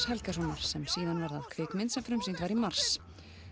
Helgasonar sem síðan varð að kvikmynd sem frumsýnd var í mars